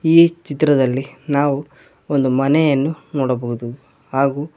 ಈ ಚಿತ್ರದಲ್ಲಿ ನಾವು ಒಂದು ಮನೆಯನ್ನು ನೋಡಬಹುದು ಹಾಗೂ.